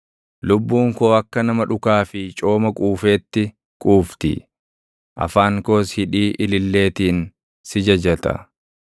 Lubbuun koo akka nama dhukaa fi cooma quufeetti quufti; afaan koos hidhii ililleetiin si jajata.